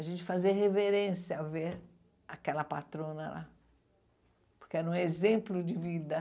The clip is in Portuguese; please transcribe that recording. A gente fazia reverência ao ver aquela patrona lá, porque era um exemplo de vida.